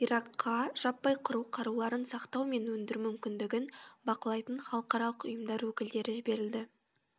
иракқа жаппай қыру қаруларын сақтау мен өндіру мүмкіндігін бақылайтын халықаралық ұйымдар өкілдері жіберілді